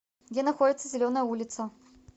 где находится зеленая улица